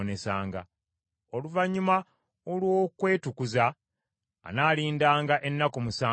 Oluvannyuma olw’okwetukuza, anaalindanga ennaku musanvu ziyite.